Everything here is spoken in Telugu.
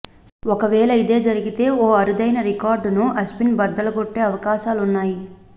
ఒకవేళ ఇదే జరిగితే ఓ అరుదైన రికార్డును అశ్విన్ బద్దలుగొట్టే అవకాశాలున్నాయి